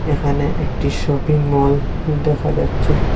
এখানে একটি shopping mall দেখা যাচ্ছে।